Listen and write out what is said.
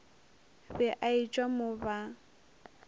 be a etšwa mo ba